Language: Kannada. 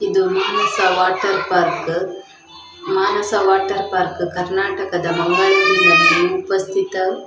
ಇದು Manasa water park Manasa water park ಕರ್ನಾಟದ ಉಪಸ್ಥಿತ--